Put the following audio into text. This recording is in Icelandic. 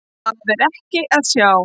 Það er ekki að sjá.